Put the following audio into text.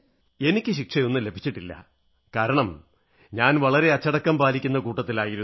എനിക്ക് ശിക്ഷയൊന്നും ലഭിച്ചിട്ടില്ല കാരണം ഞാൻ വളരെ അച്ചടക്കം പാലിക്കുന്ന കൂട്ടത്തിലായിരുന്നു